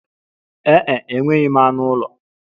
Ee e, enweghị m anụ ụlọ.